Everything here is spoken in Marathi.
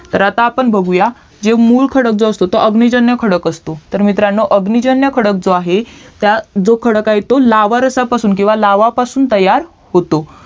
तर आपण आता बघूयात जे मुळ खडक जो असतो तो अग्निजन्य खडक असतो तर मित्रांनो अग्निजन्य जो आहे जो खडक आहे तो लावरसापासून किवा लावापासून तयार होतो